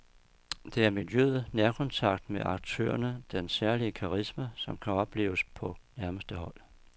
Det er miljøet, nærkontakten med aktørerne, den særlige karisma, som kan opleves på nærmeste hold.